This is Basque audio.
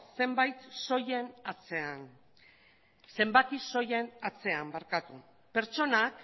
zenbaki soilen atzean pertsonak